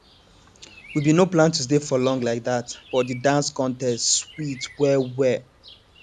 we been no plan to stay for long like that but the dance contest sweet well well